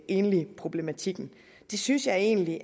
enligproblematikken det synes jeg egentlig